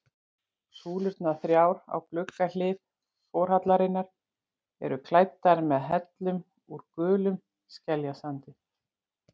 Súlurnar þrjár á gluggahlið forhallarinnar eru klæddar með hellum úr gulum skeljasandi.